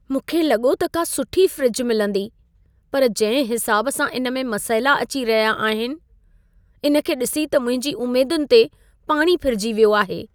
मूंखे लॻो त का सुठी फ़्रिज मिलंदी, पर जंहिं हिसाब सां इन में मसइला अची रहिया आहिनि, इन खे ॾिसी त मुंहिंजी उमेदुनि ते पाणी फिरजी वियो आहे।